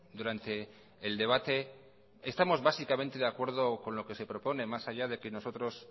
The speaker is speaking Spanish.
durante el debate estamos básicamente de acuerdo con lo que se propone más allá de que nosotros